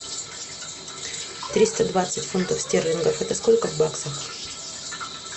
триста двадцать фунтов стерлингов это сколько в баксах